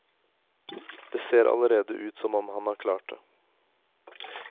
Det ser allerede ut som om han har klart det.